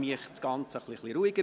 So würde das Ganze etwas ruhiger.